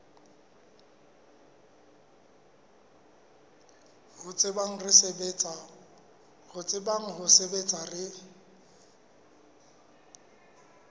re tsebang ho sebetsa re